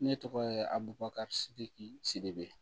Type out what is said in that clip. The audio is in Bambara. Ne tɔgɔ ye abubakasegi sidibe